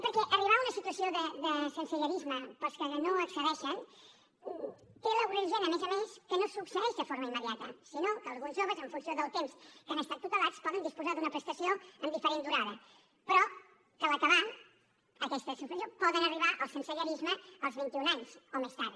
perquè arribar a una situació de sensellarisme per als que no hi accedeixen té l’agreujant a més a més que no succeeix de forma immediata sinó que alguns joves en funció del temps que han estat tutelats poden disposar d’una prestació amb diferent durada però que a l’acabar aquesta prestació poden arribar al sensellarisme als vint i un anys o més tard